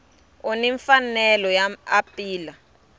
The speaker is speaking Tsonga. u ni mfanelo yo apila